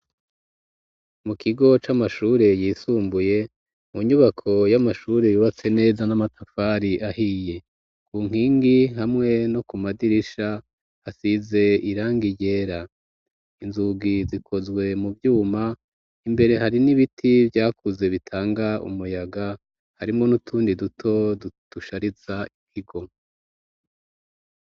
Mu kigo c'amashure yisumbuye, mu nyubako y'amashure yubatse neza n'amatafari ahiye, ku nkingi hamwe no ku madirisha hasize irangi ryera, inzugi zikozwe mu vyuma, imbere hari n'ibiti vyakuze bitanga umuyaga, harimwo n'utundi duto dushariza ikigo.